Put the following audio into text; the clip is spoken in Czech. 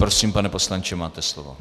Prosím, pane poslanče, máte slovo.